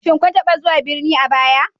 Shin kun taba zuwa birni a baya